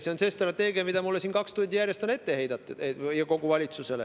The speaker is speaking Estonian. See on see strateegia, mida siin mulle ja kogu valitsusele kaks tundi järjest on ette heidetud.